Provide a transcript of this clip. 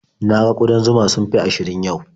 Na ga ƙudan zuma sun fi ashirin yau.